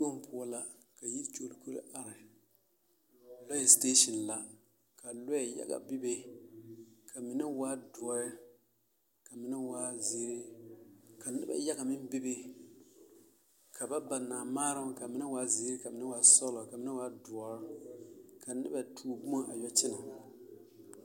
Zikpoŋ poɔ la ka yikyolikolo are, lɔɛ siteesin la ka lɔɛ yaga bebe ka mine waa doɔɛ ka mine waa zeere ka noba yaga meŋ bebe ka ba naa maaroŋ k'a mine waa zeere ka mine waa sɔgelɔ ka mine waa doɔre ka noba tuo boma a yɔ kyɛnɛ.